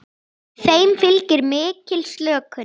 Þeim fylgir mikil slökun.